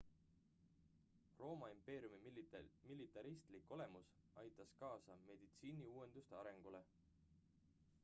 rooma impeeriumi militaristlik olemus aitas kaasa meditsiiniuuenduste arengule